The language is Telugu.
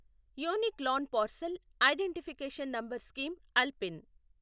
unique land parcel identification number scheme ULPIN